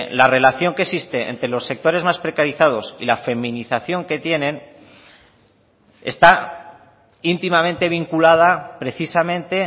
la relación que existe entre los sectores más precarizados y la feminización que tienen está íntimamente vinculada precisamente